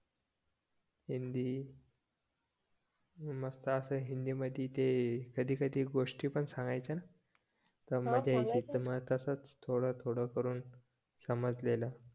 हिंदी मस्त असं हिंदीमध्ये ते कधी कधी गोष्टी पण सांगायच्या तसंच थोडं थोडं करून समजलेलं